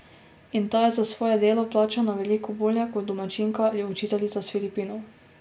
In ta je za svoje delo plačana veliko bolje kot domačinka ali učiteljica s Filipinov.